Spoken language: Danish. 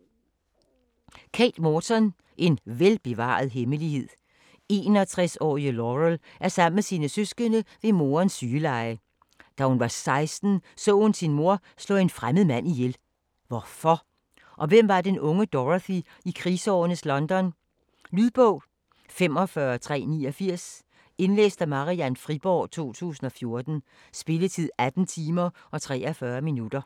Morton, Kate: En velbevaret hemmelighed 61-årige Laurel er sammen med sine søskende ved morens sygeleje. Da hun var 16, så hun sin mor slå en fremmed mand ihjel. Hvorfor? Og hvem var den unge Dorothy i krigsårenes London? Lydbog 45389 Indlæst af Marian Friborg, 2014. Spilletid: 18 timer, 43 minutter.